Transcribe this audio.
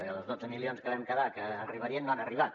perquè els dotze milions que vam quedar que arribarien no han arribat